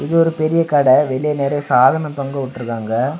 இது ஒரு பெரிய கட. வெளிய நெறைய சாதனம் தொங்கவுட்டுருக்காங்க.